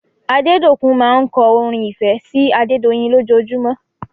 Adedokun máa ń kọ́ orin ìfẹ́ sí Adedoyin lòjojumọ́